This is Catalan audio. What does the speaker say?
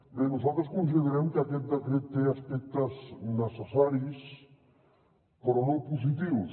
bé nosaltres considerem que aquest decret té aspectes necessaris però no positius